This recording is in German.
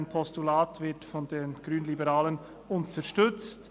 Ein Postulat wird von den Grünliberalen unterstützt.